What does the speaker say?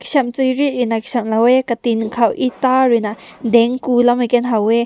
cham riri aram lao yeh kati kao eta rui na tang kum na haw weh.